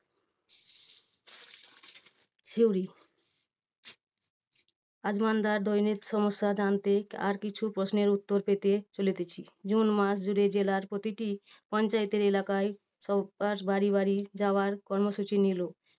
সিউড়ি দৈনিক সমস্যা জানতে আর কিছু প্রশ্নের উত্তর পেতে চলিতেছি। জুন মাস গুড়ে জেলার প্রতিটি পঞ্চায়েতের এলাকায় বাড়ি বাড়ি যাওয়ার কর্মসূচি নিলো।